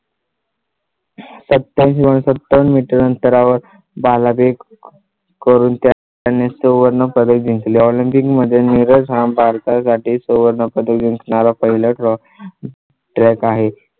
सत्यम शिवम सत्तर मीटर अंतरावर बाला बेक करून त्या आणि सुवर्ण पदक जिंकले. olympic मध्ये नीरज हा भारतासाठी सुवर्णपदक जिंकणारा पहिला TRUCK.